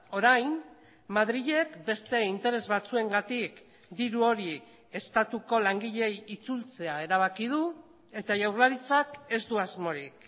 orain madrilek beste interes batzuengatik diru hori estatuko langileei itzultzea erabaki du eta jaurlaritzak ez du asmorik